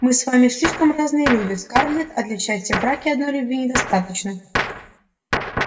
мы с вами слишком разные люди скарлетт а для счастья в браке одной любви недостаточно